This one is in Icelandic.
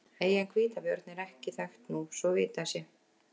Eyjan Hvítabjörn er ekki þekkt nú svo vitað sé.